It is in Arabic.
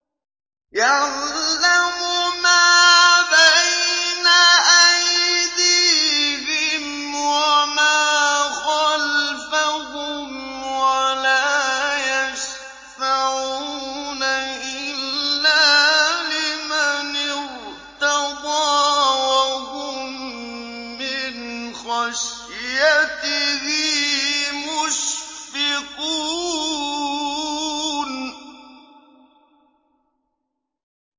يَعْلَمُ مَا بَيْنَ أَيْدِيهِمْ وَمَا خَلْفَهُمْ وَلَا يَشْفَعُونَ إِلَّا لِمَنِ ارْتَضَىٰ وَهُم مِّنْ خَشْيَتِهِ مُشْفِقُونَ